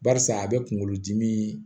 Barisa a bɛ kunkolodimi